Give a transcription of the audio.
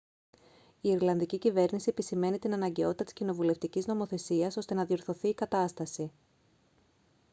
η ιρλανδική κυβέρνηση επισημαίνει την αναγκαιότητα της κοινοβουλευτικής νομοθεσίας ώστε να διορθωθεί η κατάσταση